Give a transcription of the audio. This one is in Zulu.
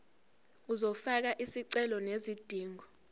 uzofaka isicelo sezidingo